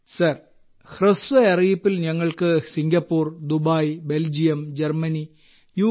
group captain sir ഹ്രസ്വ അറിയിപ്പിൽ ഞങ്ങൾക്ക് Singapore Dubai Belgium Germany U